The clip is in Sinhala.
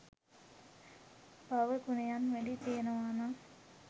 භාව ගුණයන් වැඞී තියෙනවා නම්